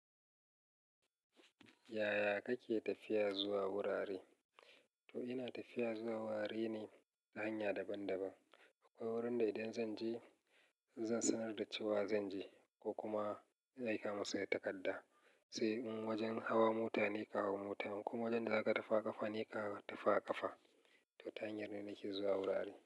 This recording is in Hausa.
Yaya kake tafiya zuwa wurare? To ina tafiya zuwa gurare ne ta hanya daban-daban, akwai gurin da idan zan je zan sanar da cewa zan je ko kuma na aika musu da takadda. Sai in wajen hawa mota ne ka hau mota, in kuma wajen da zaka ta fi a ƙafa ne ka ta fi a ƙafa. To ta hanyar da nake zuwa gurare.